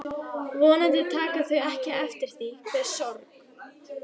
Vonandi taka þau ekki eftir því hve sorg